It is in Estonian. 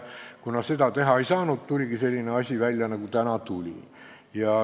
Kuna seda teha ei saanud, tuligi välja selline asi, nagu nüüd on.